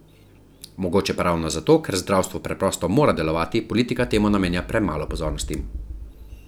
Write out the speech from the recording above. Mogoče pa ravno zato, ker zdravstvo preprosto mora delovati, politika temu namenja premalo pozornosti.